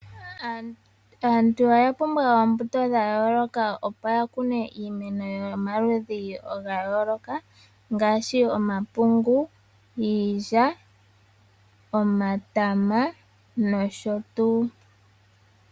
Aantu oya pumbwa oombuto dha yooloka opo yakune iimeno yomaludhi gayooloka ngaashi omapungu, iilya , omatama noshotuu.